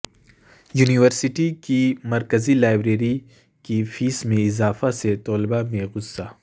university کی مرکزی library کی فیس میں اضافہ سے طلبہ میں غصہ